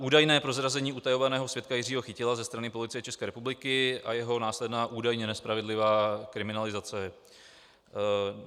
Údajné prozrazení utajovaného svědka Jiřího Chytila ze strany Policie České republiky a jeho následná údajně nespravedlivá kriminalizace.